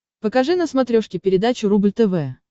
покажи на смотрешке передачу рубль тв